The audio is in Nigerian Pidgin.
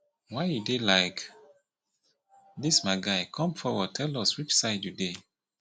why you dey like dis my guy come forward tell us which side you dey